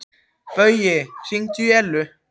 Baui, hringdu í Ellu.